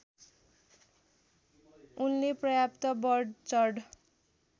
उनले पर्याप्त बढचढ